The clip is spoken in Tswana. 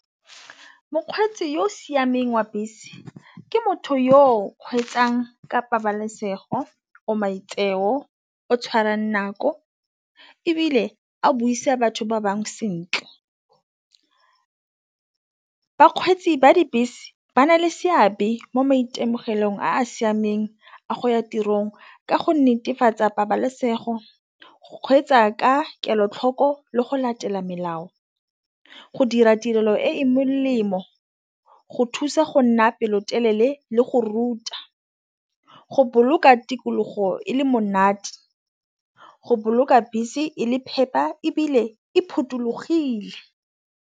Mokgweetsi yo o siameng wa bese ke motho yo kgweetsang ka pabalesego, o maitseo o tshwarang nako ebile a buisa batho ba bangwe sentle. Bakgweetsi ba dibese ba na le seabe mo maitemogelong a siameng a go ya tirong ka go netefatsa pabalesego, go kgweetsa ka kelotlhoko le go latela melao. Go dira tirelo e e molemo go thusa go nna pelotelele le go ruta go boloka tikologo e le monate go boloka bese e le phepa ebile e phothulogile.